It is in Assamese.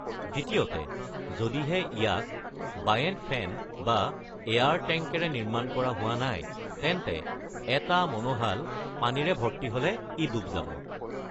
দ্বিতীয়তে, যদিহে ইয়াক বায়েণ্ট ফেন বা এয়াৰ টেংকেৰে নিৰ্মাণ কৰা হোৱা নাই, তেন্তে এটা মনোহাল পানীৰে ভৰ্তি হ'লে ই ডুব যাব।